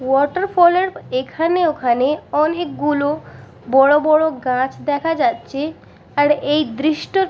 water ফল -এর এখানে ওখানে অনেকগুলো বড় বড় গাছ দেখা যাচ্ছে আর এই দৃষ্ট--